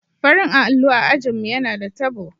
Farin allo a ajin mu yana da tabo.